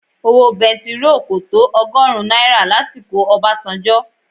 Owó bẹntiróò kò tó ọgọ́rùn-ún náírà lásìkò Obasanjo.